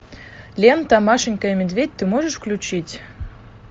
лента машенька и медведь ты можешь включить